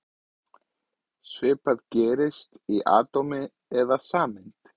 Svipað gerist í atómi eða sameind.